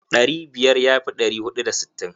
Ɗari biyar ya fi ɗari huɗu da sittin.